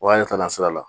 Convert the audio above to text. Wa ne taara sira la